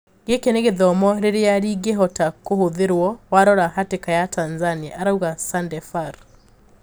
"Giki ni githomo riria ringihota kũhũthrirwo warora hatika ya Tanzania," arauga Sandefur